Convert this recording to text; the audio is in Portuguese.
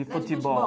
De futebol.